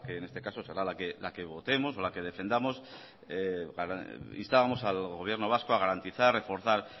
en este caso será la que votemos la que defendamos instábamos al gobierno vasco a garantizar reforzar